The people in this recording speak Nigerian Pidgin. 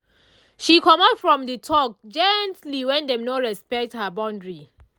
she comot from the talk gently when dem no respect her boundary